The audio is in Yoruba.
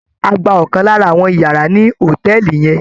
A gba ọ̀kan lára àwọn yàrá ní hòtẹ́ẹ̀lì yẹn.